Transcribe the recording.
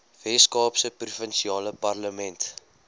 weskaapse provinsiale parlement